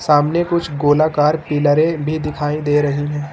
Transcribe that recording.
सामने कुछ गोलाकार पिलारे भी दिखाई दे रही है।